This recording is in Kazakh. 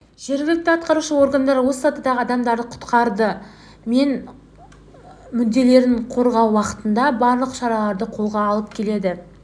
жергілікті атқарушы органдар осы сатыдағы адамдардың құқықтары мен мүдделерін қорғау бағытында барлық шараларды қолға алып келеді